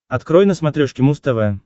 открой на смотрешке муз тв